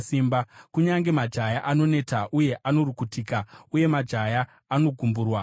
Kunyange majaya anoneta uye anorukutika, uye majaya anogumburwa agowa;